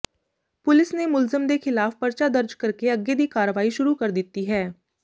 police ਨੇ ਮੁਲਜ਼ਮ ਦੇ ਖ਼ਿਲਾਫ਼ ਪਰਚਾ ਦਰਜ ਕਰਕੇ ਅੱਗੇ ਦੀ ਕਾਰਵਾਈ ਸ਼ੁਰੂ ਕਰ ਦਿੱਤੀ ਹੈ